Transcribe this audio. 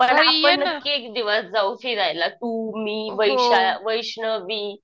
पण आपण नक्की एक दिवस जाऊ फिरायला तू, मी वैष्णवी